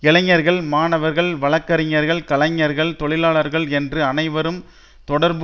இளைஞர்கள் மாணவர்கள் வழக்கறிஞர்கள் கலைஞர்கள் தொழிலாளர்கள் என்று அனைவரும் தொடர்பு